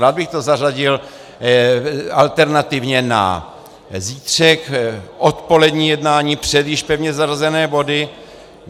Rád bych to zařadil alternativně na zítřek, odpolední jednání před již pevně zařazené body.